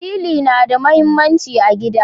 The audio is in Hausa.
Sili na da muhimmanci a gida.